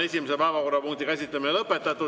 Esimese päevakorrapunkti käsitlemine on lõpetatud.